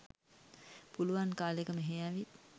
පුළුවන් කාලෙක මෙහෙ ඇවිත්